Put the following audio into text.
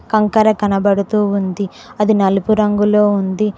కంకర కనబడుతూ ఉంది అది నలుపు రంగులో ఉంది.